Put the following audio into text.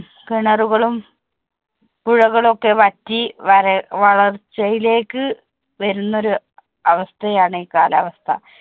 കിണറുകളും പുഴകളും ഒക്കെ വറ്റി വരള്‍ വളർച്ചയിലേക്ക് വരുന്ന ഒരു അവസ്ഥയാണ് ഈ കാലാവസ്ഥ.